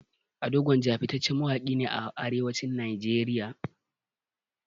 Ado gwanja fitacciyar mawaƙi ne a arewacin nigeria